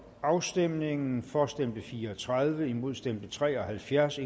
afstemningen for stemte fire og tredive imod stemte tre og halvfjerds